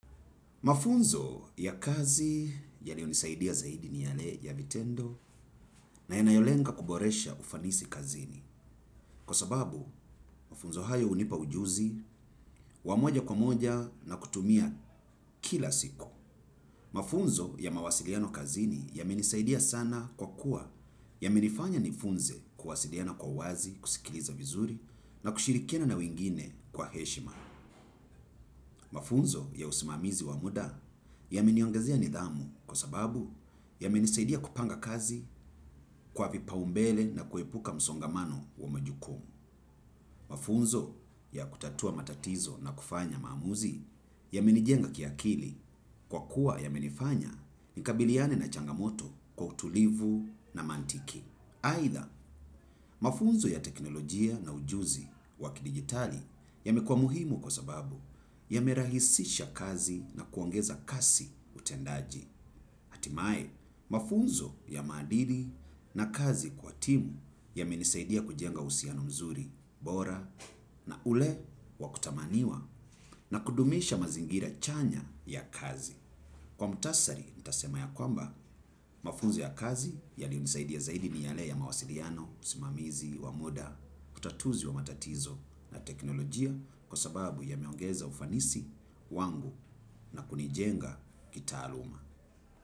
Mafunzo ya kazi yaliyo nisaidia zaidi ni yale ya vitendo na yanayolenga kuboresha ufanisi kazini. Kwa sababu, mafunzo hayo hunipa ujuzi, wamoja kwa moja na kutumia kila siku. Mafunzo ya mawasiliano kazini ya menisaidia sana kwa kuwa ya menifanya nifunze kuwasiliana kwa uwazi, kusikiliza vizuri na kushirikina na wengine kwa heshima. Mafunzo ya usimamizi wa muda ya meniongezea nidhamu kwa sababu ya menisaidia kupanga kazi kwa vipa umbele na kuepuka msongamano wa majukumu. Mafunzo ya kutatua matatizo na kufanya maamuzi ya menijenga kiakili kwa kuwa ya menifanya nikabiliane na changamoto kwa utulivu na mantiki. Aidha, mafunzo ya teknolojia na ujuzi wakidigitali ya mekuwa muhimu kwa sababu ya merahisisha kazi na kuongeza kasi utendaji. Hatimae, mafunzo ya maadili na kazi kwa timu ya menisaidia kujenga uhusiano mzuri, bora, na ule wakutamaniwa na kudumisha mazingira chanya ya kazi. Kwa mutasari, nitasema ya kwamba mafunzo ya kazi ya liyonisaidia zaidi ni yale ya mawasiliano, usimamizi, wamuda, utatuzi wa matatizo na teknolojia kwa sababu ya meongeza ufanisi wangu na kunijenga kita aluma.